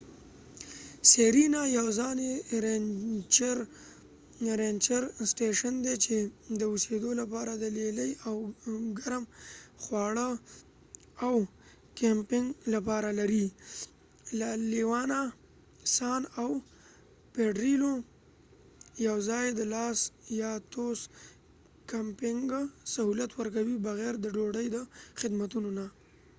سیرینا یواځنی رینچر سټیشن دي چې د اوسیدو لپاره د لیلیې او ګرم خواړه د کېمپنګ لپاره لري. لا لیونا سانla leons san پیډریلوpedrillo ، او لاس پا توس las patos یواځی د کمپنګ سهولت ورکوي بغیر د ډوډۍ د خدماتو نه